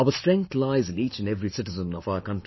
Our strength lies in each and every citizen of our country